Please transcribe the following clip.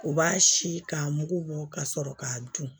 U b'a si k'a mugu bɔ ka sɔrɔ k'a dun